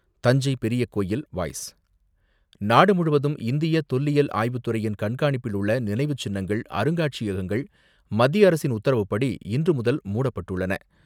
தஞ்சை பெரிய கோவில் வாய்ஸ் நாடுமுழுவதும் இந்திய தொல்லியல் ஆய்வுத்துறையின் கண்காணிப்பில் உள்ள நினைவுச்சின்னங்கள், அருங்காட்சியகங்கள் மத்திய அரசின் உத்தரவுப்படி, இன்றுமுதல் மூடப்பட்டுள்ளன.